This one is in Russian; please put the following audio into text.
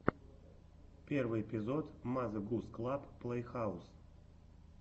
первый эпизод мазе гус клаб плейхаус